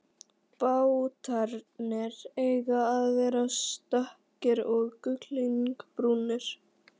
Bátarnir eiga að vera stökkir og gullinbrúnir.